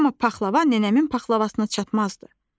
Amma paxlava nənəmin paxlavasına çatmazdı.